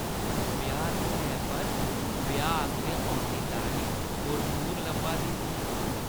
ब्याह्-धुनै पर ब्याह् आस्तै औंदी लाड़ी पुरनूर लब्भा दी ही।